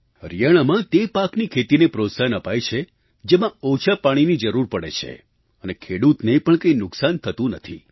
હરિયાણામાં તે પાકની ખેતીને પ્રોત્સાહન અપાય છે જેમાં ઓછા પાણીની જરૂર પડે છે અને ખેડૂતને પણ કંઈ નુકસાન થતું નથી